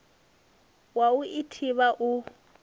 wa u i thivha u